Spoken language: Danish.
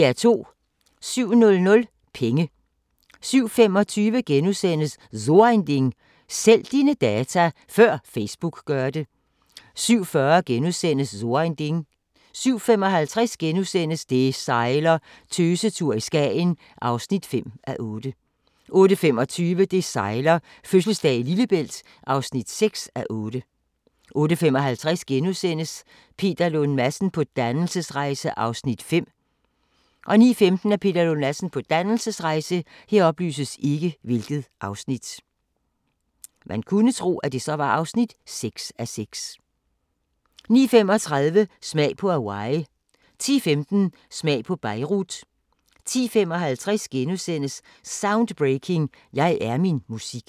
07:00: Penge 07:25: So ein Ding: Sælg dine data – før Facebook gør det * 07:40: So ein Ding * 07:55: Det sejler - Tøsetur i Skagen (5:8)* 08:25: Det sejler - fødselsdag i Lillebælt (6:8) 08:55: Peter Lund Madsen på dannelsesrejse (5:6)* 09:15: Peter Lund Madsen på dannelsesrejse 09:35: Smag på Hawaii 10:15: Smag på Beirut 10:55: Soundbreaking – Jeg er min musik *